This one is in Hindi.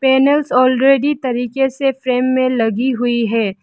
पैनल्स ऑलरेडी तरीके से फ्रेम में लगी हुई है।